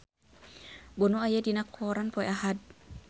Bono aya dina koran poe Ahad